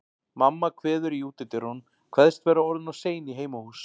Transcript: Mamma kveður í útidyrunum, kveðst vera orðin of sein í heimahús.